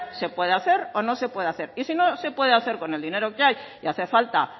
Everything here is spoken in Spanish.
se puede hacer o no se puede hacer y si no se puede hacer con el dinero que hay y hace falta